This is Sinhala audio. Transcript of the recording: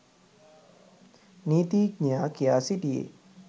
නීතීඥයා කියා සිටියේ